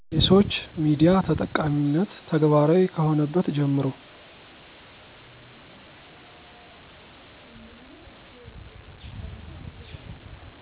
የሰዉች ሚዲያ ተጠቃሚነት ተግባራዊ ከሆነበት ጀምሮ